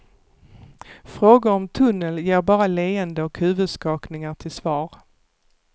Frågor om tunneln ger bara leenden och huvudskakningar till svar.